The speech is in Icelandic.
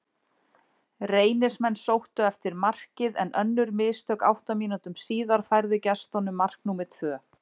Reynismenn sóttu eftir markið, en önnur mistök átta mínútum síðar færðu gestunum mark númer tvö.